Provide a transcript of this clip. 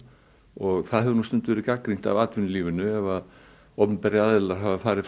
og það hefur nú stundum verið gagnrýnt af atvinnulífinu ef opinberir aðilar hafa farið